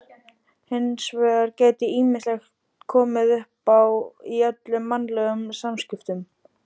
Hins vegar geti ýmislegt komið uppá í öllum mannlegum samskiptum.